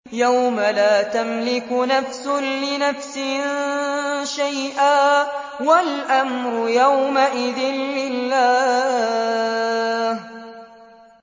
يَوْمَ لَا تَمْلِكُ نَفْسٌ لِّنَفْسٍ شَيْئًا ۖ وَالْأَمْرُ يَوْمَئِذٍ لِّلَّهِ